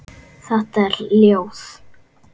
Þetta er ljóð.